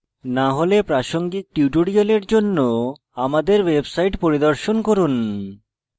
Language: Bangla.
না হলে প্রাসঙ্গিক tutorial জন্য আমাদের website পরিদর্শন করুন